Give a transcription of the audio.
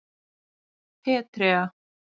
Petrea